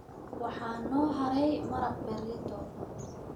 Waxaa noo haray maraq berrito.